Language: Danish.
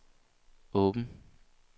åben